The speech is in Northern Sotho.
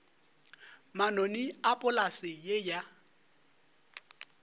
manoni a polase ye ya